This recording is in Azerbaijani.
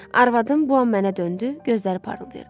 Arvadım bu an mənə döndü, gözləri parıldayırdı.